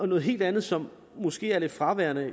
noget helt andet som måske er lidt fraværende